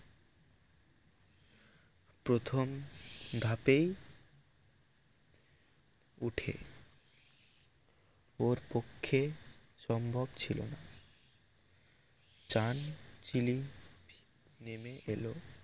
প্রথম ধাপেই উঠে ওর পক্ষে সম্ভব ছিল না চান চিলি নামে এলো